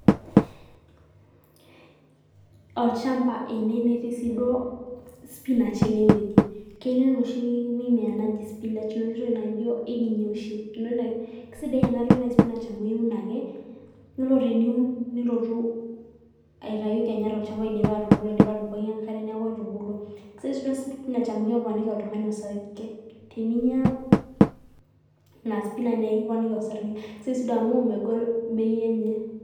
olchamba ene netii sii duo spinach enewueji, ketii enoshi mimea naji spinach enoshi toki naijo ekinya oshi, niun ake, keisidai ena toki naji spinach amu iun ake, yiolo teniun nilotu aitayu kenya tolchamba idipa atubulu indipa atubukoki enkare neeku etubulua, kisidai spinach amuu keponiki oltung'ani orsarge teninya ina spinach neekiponiki orsarge, kisidai sii duo amuu megol bei enye..